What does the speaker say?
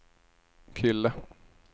kille